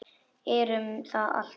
Erum það alltaf.